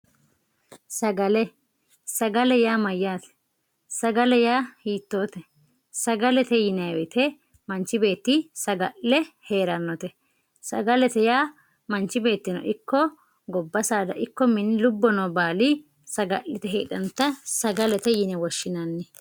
sagale, sagale yaa sagale yaa hiittote? sagalete yinay woyte manchi beetti saga'le hee'rannote sagalete yaa manchi beettono ikko gobba saada ikko lubbo noo baali saga'lite heedhannota sagalete yine woshshinanni.